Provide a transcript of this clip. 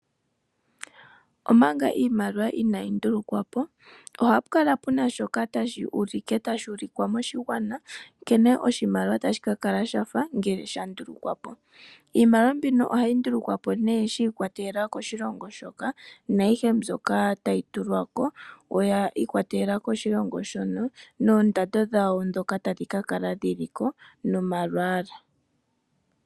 Omanga iimaliwa inaayi ndulukwa po ohapu kala pu na shoka tashi ulikwa moshigwana, nkene oshimaliwa tashi ka kala sha fa ngele sha ndulukwa po. Iimaliwa mbino ohayi ndulukwa po nee shi ikwatelela koshilongo shoka naayihe mbyoka tayi tulwa ko oyi ikwatelela koshilongo shono noondando dhawo ndhono tadhi ka kala dhi li ko nomalwaala.